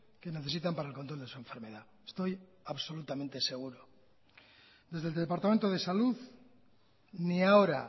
que necesitan para el control de su enfermedad estoy absolutamente seguro desde el departamento de salud ni ahora